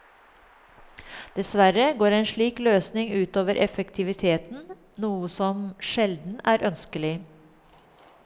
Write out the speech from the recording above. Dessverre går en slik løsning utover effektiviteten, noe som sjelden er ønskelig.